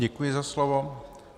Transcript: Děkuji za slovo.